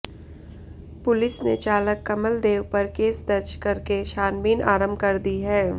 police ने चालक कमल देव पर केस दज करके छानबीन आरंभ कर दी है